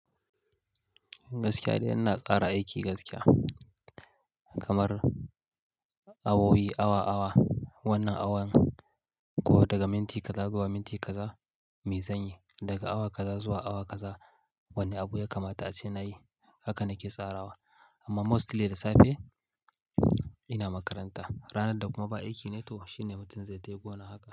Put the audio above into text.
Gaskiya dai ina tsara aiki gaskiya kamar awowi awa awa, wannan awan ko daga minti kaza zuwa minti kaza, me zanyi. Daga awa kaza zuwa awa kaza wani abu ya kamata ace nayi. Haka nake tsarawa amma mostly da safe ina makaranta. Ranar da kuma ba aiki ne to shine mutum zai tafi gona haka.